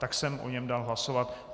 Tak jsem o něm dal hlasovat.